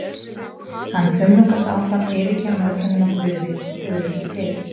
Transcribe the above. Hann þumlungast áfram, yfirgefinn af öllum nema Guði, og Guð er ekki til.